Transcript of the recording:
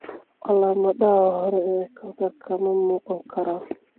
Calaamadaha hore ee kansarku ma muuqan karaan.